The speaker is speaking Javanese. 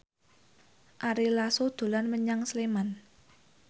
Ari Lasso dolan menyang Sleman